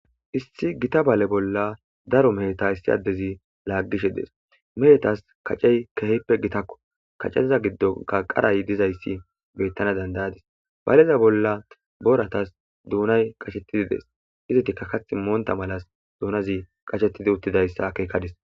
Issi gita baale bolla daro mehta issi addezi laaggishe dees mehetas kacey kehippe gitakko kacediza giddonka qaray dizayssi bettana dandayadis baleza bolla boratas duunay qashettidi dees izitika kath moonta malas duunazi qashetidi uttidayssa keekadis.